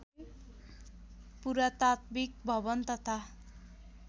पुरातात्विक भवन तथा